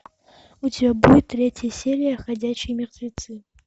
у тебя будет третья серия ходячие мертвецы